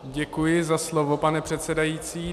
Děkuji za slovo, pane předsedající.